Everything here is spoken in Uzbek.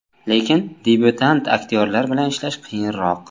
Lekin, debyutant aktyorlar bilan ishlash qiyinroq.